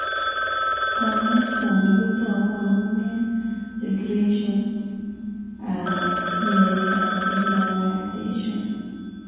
Kanyoisooni kotogu amun eng' regression ab neovascularization